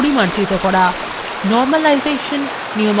normalization নিয়মাবলী প্রয়োগ করা